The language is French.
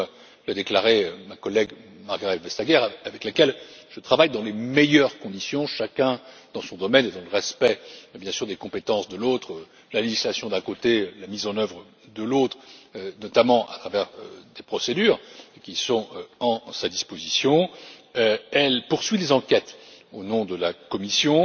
Comme l'a déclaré ma collègue, Margrethe Vestager avec laquelle je travaille dans les meilleures conditions, chacun dans son domaine et dans le respect, bien sûr, des compétences de l'autre, la législation d'un côté, la mise en œuvre de l'autre notamment à travers des procédures qui sont à sa disposition, elle poursuit les enquêtes au nom de la Commission.